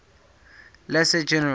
lesser general